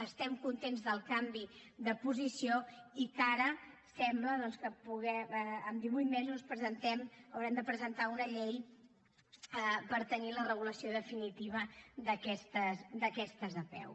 estem contents del canvi de posició i que ara sembla doncs que en divuit mesos haurem de presentar una llei per tenir la regulació definitiva d’aquestes apeu